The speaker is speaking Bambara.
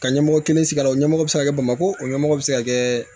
Ka ɲɛmɔgɔ kelen sigi la o ɲɛmɔgɔ bɛ se ka kɛ bamakɔ o ɲɛmɔgɔ bɛ se ka kɛ